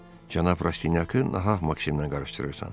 Cənab Rastinyakı nahaq Maksimlə qarışdırırsan.